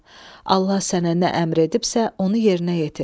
Allah sənə nə əmr edibsə, onu yerinə yetir.